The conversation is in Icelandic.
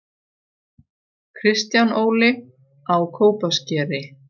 Kristján Óli: Á Kópaskeri